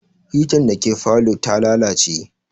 Hitan da ke falow ta lalace